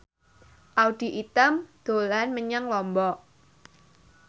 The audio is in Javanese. Audy Item dolan menyang Lombok